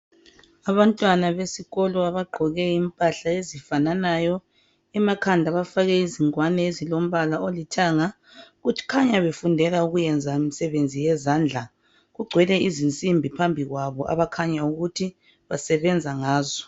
Abantwana besikolo abagqoke impahla ezifananayo emakhanda bafake ingwane ezilombala olithanga kukhanya befundela ukuyenza imisebenzi yezandla kugcwele izinsimbi phambi kwabo abakhanya ukuthi basebenza ngazo.